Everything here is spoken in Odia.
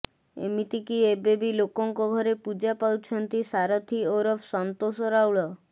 ଏମିତିକି ଏବେବି ଲୋକଙ୍କ ଘରେ ପୂଜା ପାଉଛନ୍ତି ସାରଥୀ ଓରଫ୍ ସନ୍ତୋଷ ରାଉଳ